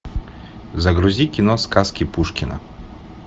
загрузи кино сказки пушкина